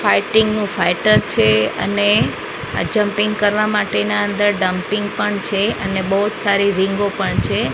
Fighting નુ fighter છે અને આ જમ્પિંગ કરવા માટેના અંદર ડમ્પીંગ પણ છે અને બહુ જ સારી રીંગો પણ છે.